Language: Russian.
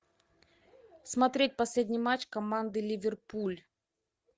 смотреть последний матч команды ливерпуль